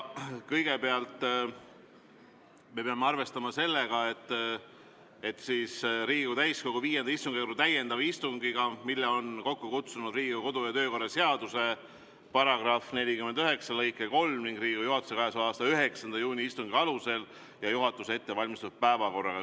Riigikogu täiskogu V istungjärgu täiendav istung on kokku kutsutud Riigikogu kodu- ja töökorra seaduse § 49 lõike 3 ja Riigikogu juhatuse k.a 9. juuni istungi otsuse alusel ning juhatuse ettevalmistatud päevakorraga.